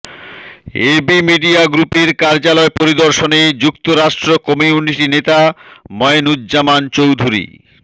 AB media গ্রুপের কার্যালয় পরিদর্শনে যুক্তরাষ্ট্র কমিউনিটি নেতা ময়নূজ্জামান চৌধুরী